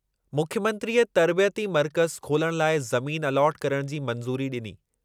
मुख्यमंत्रीअ तर्बियती मर्कज़ु खोलणु लाइ ज़मीन अलॉट करण जी मंज़ूरी ॾिनी।